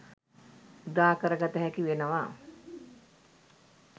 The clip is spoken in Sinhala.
උදාකර ගත හැකි වෙනවා.